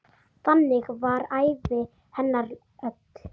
Þannig var ævi hennar öll.